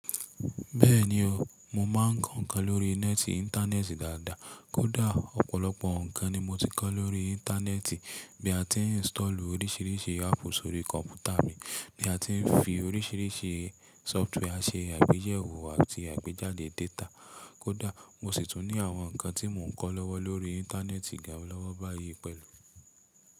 Bẹ́ẹ̀ni o, mo máa ń kọ́ ǹnkan lórí nẹ́ẹ̀tì ìntánẹ́ẹ̀tì dáadáa. Kódà ọ̀pọ̀lọpọ̀ ǹnkan ni mo ti kọ́ lórí Íńtánéẹ̀tì bí a ti ń install oríṣìíríṣìí app sórí kọ̀mpútà mi, bí a ti ń fi oríṣìíríṣìí sófútwé a ṣe àgbéyẹ̀wò àti àgbéjáde data. Kódà mo sì tún ní àwọn ǹnkan tí mò ń kọ́ lọ́wọ́ lórí Íńtánéẹ̀tì gan lọ́wọ́ báyìí pẹ̀lú.